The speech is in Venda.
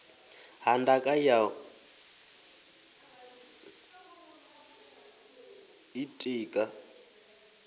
ha ndaka ya u ḓitika